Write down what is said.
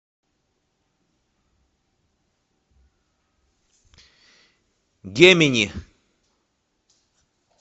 гемини